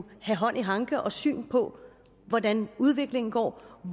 have hånd i hanke og syn på hvordan udviklingen går